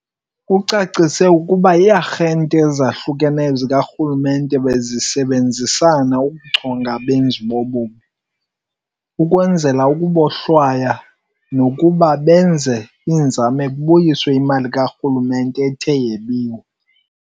Ucacise ukuba ii-arhente ezahlukeneyo zikarhulumente bezisebenzisana ukuchonga abenzi bobubi, ukubohlwaya, nokuze benze kubuyiswe imali karhulumente ethe yebiwa.